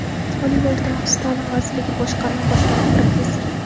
Oliy va o‘rta maxsus ta’lim vazirligi boshqarma boshlig‘i, professor;.